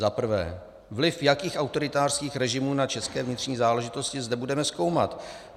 Za prvé - vliv jakých autoritářských režimů na české vnitřní záležitosti zde budeme zkoumat?